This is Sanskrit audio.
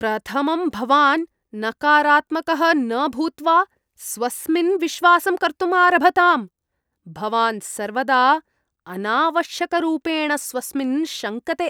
प्रथमं भवान् नकारात्मकः न भूत्वा स्वस्मिन् विश्वासं कर्तुम् आरभताम्। भवान् सर्वदा अनावश्यकरूपेण स्वस्मिन् शङ्कते।